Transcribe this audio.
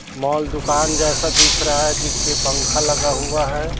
Mall दुकान जैसा दिख रहा है जिसपे पंखा लगा हुआ है।